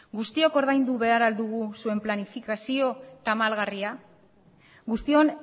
guztiok ordaindu behar ahal dugu zuen planifikazio tamalgarria guztion